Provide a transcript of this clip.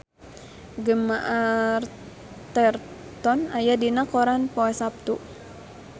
Gemma Arterton aya dina koran poe Saptu